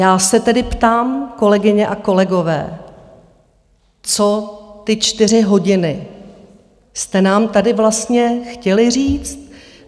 Já se tedy ptám, kolegyně a kolegové, co ty čtyři hodiny jste nám tady vlastně chtěli říct?